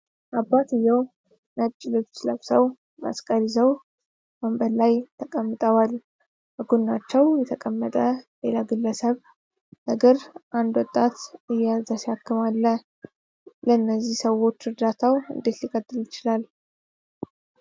አባትዬው ነጭ ልብስ ለብሰው መስቀል ይዘው ወንበር ላይ ተቀምጠዋል። በጎናቸው የተቀመጠ ሌላ ግለሰብ እግር አንድ ወጣት እየያዘ ሲያክም አለ። ለእነዚህ ሰዎች እርዳታው እንዴት ሊቀጥል ይችላል?